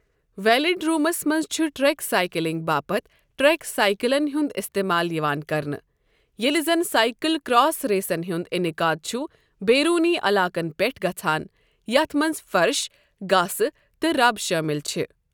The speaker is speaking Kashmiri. ویلڈرومَس منٛز چھُ ٹریک سائیکلنگ باپتھ ٹریک سائیکلَن ہُنٛد استعمال یِوان کرنہٕ، ییٚلہِ زَنہٕ سائکل کراس ریسَن ہُنٛد انعقاد چھُ بیروٗنی علاقَن پٮ۪ٹھ گژھَان، یَتھ منٛز فرش، گاسہٕ تہٕ رَب شٲمِل چھِ۔